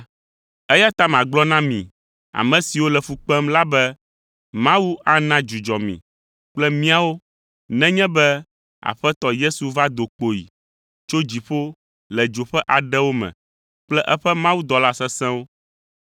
Eya ta magblɔ na mi, ame siwo le fu kpem la be Mawu ana dzudzɔ mi kple míawo nenye be Aƒetɔ Yesu va do kpoyi tso dziƒo le dzo ƒe aɖewo me kple eƒe mawudɔla sesẽwo.